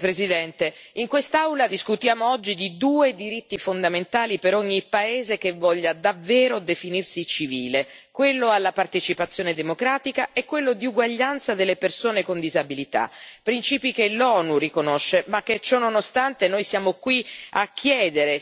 colleghi, in quest'Aula discutiamo oggi di due diritti fondamentali per ogni paese che voglia davvero definirsi civile quello alla partecipazione democratica e quello di uguaglianza delle persone con disabilità, principi che l'ONU riconosce ma che, ciononostante, noi siamo qui a chiedere.